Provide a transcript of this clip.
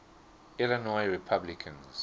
illinois republicans